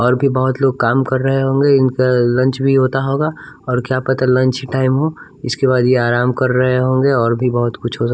और भी बहुत लोग काम कर रहे होंगे इनका लंच भी होता होगा और क्या पता लंच ही टाइम हो इसके बाद ये आराम कर रहे होंगे और भी बहुत कुछ हो सक --